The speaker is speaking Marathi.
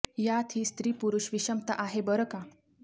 यात ही स्त्री पुरुष विषमता आहे बरं का